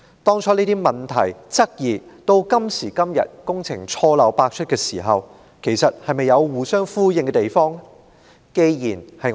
當初這些問題、質疑，與今時今日工程錯漏百出的亂象，兩者是否有互相呼應之處？